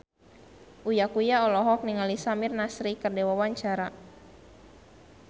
Uya Kuya olohok ningali Samir Nasri keur diwawancara